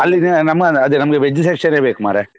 ಅಲ್ಲಿ ನಮ್ಮದ್ ಅದೇ ನಮ್ಗೆ veg section ನೇ ಬೇಕು ಮಾರ್ರೆ.